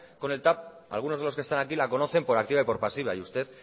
con el tav algunos de los que están aquí la conocen por activa y por pasiva y usted